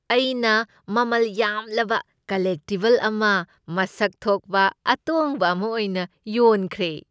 ꯑꯩꯅ ꯃꯃꯜ ꯌꯥꯝꯂꯕ ꯀꯜꯂꯦꯛꯇꯤꯕꯜ ꯑꯃ ꯃꯁꯛ ꯊꯣꯛꯄ ꯑꯇꯣꯡꯕ ꯑꯃ ꯑꯣꯏꯅ ꯌꯣꯟꯈ꯭ꯔꯦ꯫